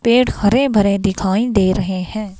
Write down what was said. पेड़ हरे भरे दिखाई दे रहे हैं.